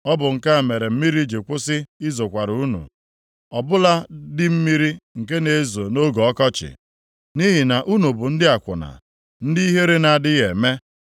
Ọ bụ nke a mere mmiri ji kwụsị izokwara unu, ọbụla dị mmiri nke na-ezo nʼoge ọkọchị. Nʼihi na unu bụ ndị akwụna, ndị ihere na-adịghị eme.